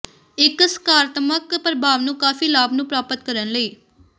ਇੱਕ ਸਕਾਰਾਤਮਕ ਪ੍ਰਭਾਵ ਨੂੰ ਕਾਫ਼ੀ ਲਾਭ ਨੂੰ ਪ੍ਰਾਪਤ ਕਰਨ ਲਈ